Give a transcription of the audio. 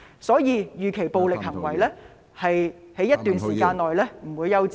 所以，暴力行為預期在一段時間內不會休止。